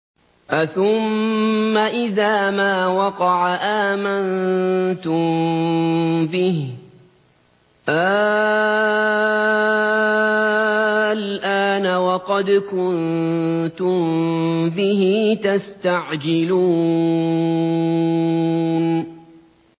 أَثُمَّ إِذَا مَا وَقَعَ آمَنتُم بِهِ ۚ آلْآنَ وَقَدْ كُنتُم بِهِ تَسْتَعْجِلُونَ